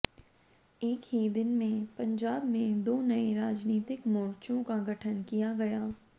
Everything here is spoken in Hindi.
एक ही दिन में पंजाब में दो नए राजनीतिक मोर्चों का गठन किया गया